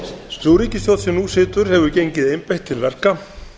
sú ríkisstjórn sem nú situr hefur gengið einbeitt til verka